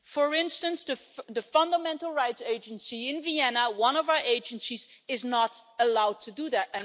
For instance, the Fundamental Rights Agency in Vienna, one of our agencies, is not allowed to do that.